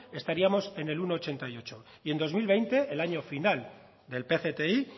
estaríamos en el uno coma ochenta y ocho y en dos mil veinte el año final del pcti